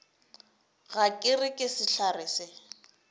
ga ke re sehlare se